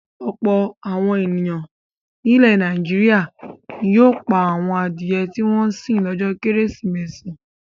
Ọ̀pọ̀ àwọn ènìyàn nílẹ̀ Nàìjíríà ni yóò pa àwọn adìẹ tí wọ́n ń sìn lọ́jọ́ Kérésìmesì.